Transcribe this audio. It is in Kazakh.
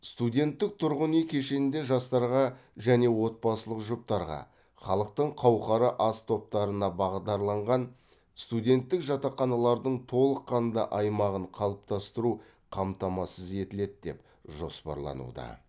студенттік тұрғын үй кешенінде жастарға және отбасылық жұптарға халықтың қауқары аз топтарына бағдарланған студенттік жатақханалардың толыққанды аймағын қалыптастыру қамтамасыз етіледі деп жоспарлануда